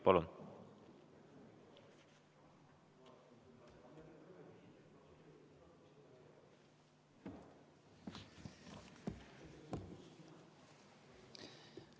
Palun!